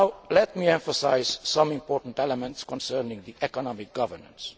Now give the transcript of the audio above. Let me emphasise some important elements concerning economic governance.